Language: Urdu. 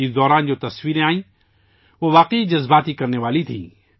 اس دوران جو تصویریں آئیں وہ واقعی جذباتی کردینے والی تھیں